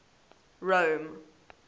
rome